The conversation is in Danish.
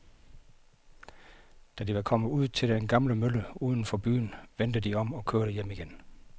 Da de var kommet ud til den gamle mølle uden for byen, vendte de om og kørte hjem igen.